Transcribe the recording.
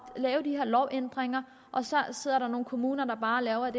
at lave de her lovændringer og så sidder der nogle kommuner der bare laver